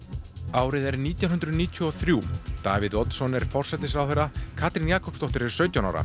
árið er nítján hundruð níutíu og þrjú Davíð Oddsson er forsætisráðherra Katrín Jakobsdóttir er sautján ára